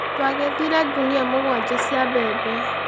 Twagethire ngunia mũgwanja cia mbembe.